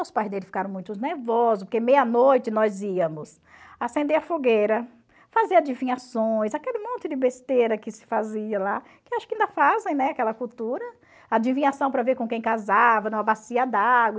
Os pais dele ficaram muitos nervosos, porque meia noite nós íamos acender a fogueira, fazer adivinhações, aquele monte de besteira que se fazia lá, que acho que ainda fazem, né, aquela cultura, adivinhação para ver com quem casava, numa bacia d'água.